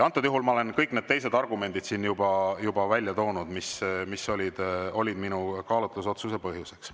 Antud juhul ma olen kõik need teised argumendid siin juba välja toonud, mis olid minu kaalutlusotsuse põhjused.